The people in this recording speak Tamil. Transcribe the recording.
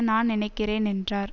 நான் நினைக்கிறேன் என்றார்